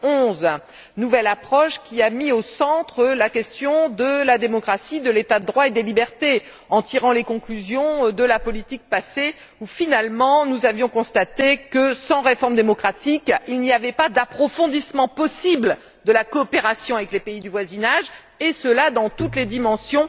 2011. Cette nouvelle approche a mis au centre des préoccupations la question de la démocratie, de l'état de droit et des libertés, en tirant les enseignements de la politique passée, qui finalement, nous avaient permis de constater que, sans réforme démocratique, il n'y avait pas d'approfondissement possible de la coopération avec les pays du voisinage et cela dans toutes les dimensions